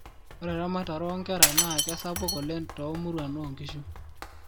ore eamatare oo nkerra naa kesapuk oleng too muruan oo nkishu